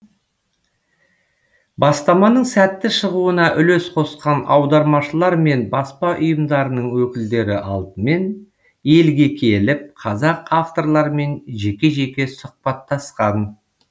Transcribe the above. бастаманың сәтті шығуына үлес қосқан аудармашылар мен баспа ұйымдарының өкілдері алдымен елге келіп қазақ авторларымен жеке жеке сұхбаттасқан